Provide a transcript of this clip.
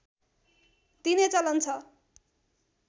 दिने चलन छ